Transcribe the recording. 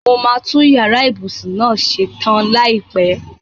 Mo máa tun yàrá ìbùsùn náà ṣe tan láìpẹ.